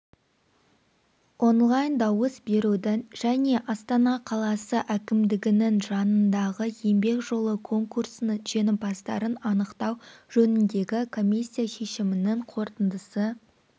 онлайн-дауыс берудің және астана қаласы әкімдігінің жанындағы еңбек жолы конкурсының жеңімпаздарын анықтау жөніндегі комиссия шешімінің қорытындысы